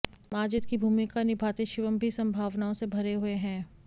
माजिद की भूमिका निभाते शिवम भी संभावनाओं से भरे हुए हैं